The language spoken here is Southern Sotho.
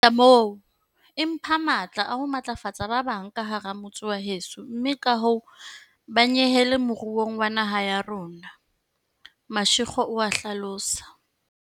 Ho feta moo, e mpha matla a ho matlafatsa ba bang ka hara motse wa heso mme kahoo ba nyehele moruong wa naha ya rona, Mashego o a hlalosa.